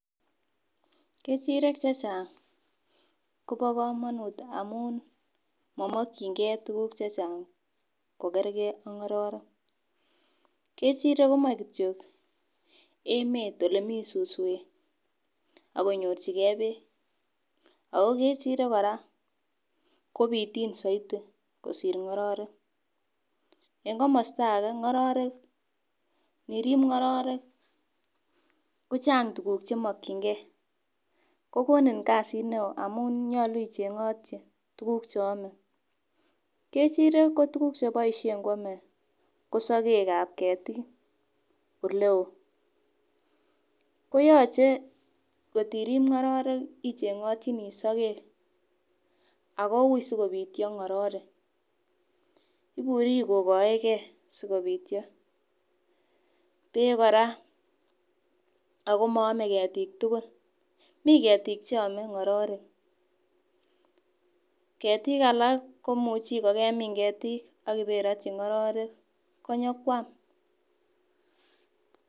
Kechirek chechang kobo komanut amun momokyinkei tuguk chechang kokerke ak ng'ororek ,kechirek komoe kityok emet ole mi suswek ak konyorchike peek ago kechirek kora ko pitiin zaidi kosir ng'ororek, en komosta age ng'ororek inirib ngororek kochang tukuk chemokyinkei ,kokonin kasit ne o amum nyolu ichengotyi tukuk che ame, kechirek ko tukuk che boisien koame ko sokekab ketik ole oo, koyache kot irib ng'ororek ichengotyini soket ako ui sikopityo ng'ororek, iburi kokoeke sikopityo ,peek kora, ako moame ketik tugul, mi ketik cheame ng'ororek ,ketik alak komuchi ko kemin ketik ak iberotyi ng'ororek konyo kwam